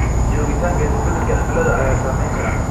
Joogitaanka isbeddelka cimilada ayaa saameyn kara.